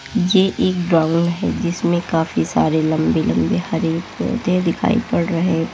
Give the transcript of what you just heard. ये एक ग्राउंड है जिसमें काफी सारे लंबे लंबे हरे पौधे दिखाई पड़ रहे हैं।